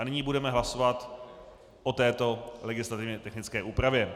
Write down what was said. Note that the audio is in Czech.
A nyní budeme hlasovat o této legislativně technické úpravě.